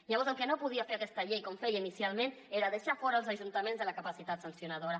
llavors el que no podia fer aquesta llei com feia inicialment era deixar fora els ajuntaments de la capacitat sancionadora